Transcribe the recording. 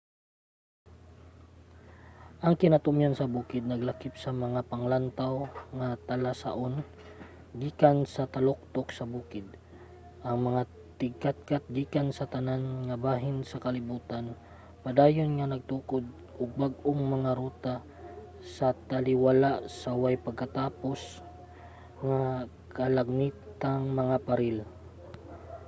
ang kinatumyan sa bukid naglakip sa mga panglantaw nga talasaon gikan sa taluktok sa bukid. ang mga tigkatkat gikan sa tanan nga bahin sa kalibutan padayon nga nagtukod og bag-ong mga ruta sa taliwala sa way pagkatapos nga kalagmitang mga paril